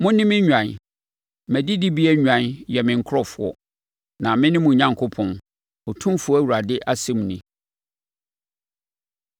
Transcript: Mo, me nnwan, mʼadidibea nnwan yɛ me nkurɔfoɔ, na mene mo Onyankopɔn, Otumfoɔ Awurade asɛm nie.’ ”